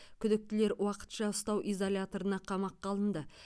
күдіктілер уақытша ұстау изоляторына қамаққа алынды